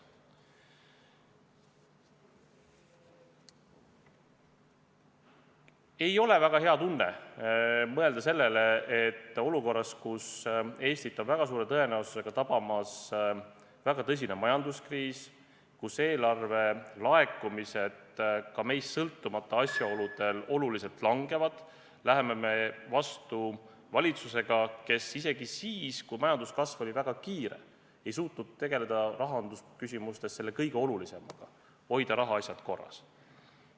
Ei ole väga hea tunne mõelda sellele, et olukorras, kus Eestit on väga suure tõenäosusega tabamas väga tõsine majanduskriis, kus eelarve laekumised ka meist sõltumata asjaoludel oluliselt langevad, läheme me vastu valitsusega, kes isegi siis, kui majanduskasv oli väga kiire, ei suutnud tegeleda rahandusküsimustes selle kõige olulisemaga: hoida rahaasjad korras.